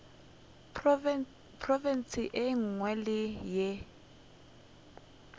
profense ye nngwe le ye